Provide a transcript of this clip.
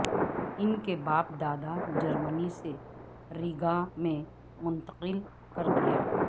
ان کے باپ دادا جرمنی سے ریگا میں منتقل کر دیا